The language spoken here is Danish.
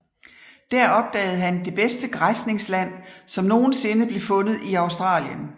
Der opdagede han det bedste græsningsland som nogen sinde blev fundet i Australien